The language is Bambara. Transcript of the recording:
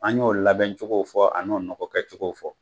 An y'o labɛn cogo o fɔ , an n'o nɔgɔ kɛcogo o fɔ.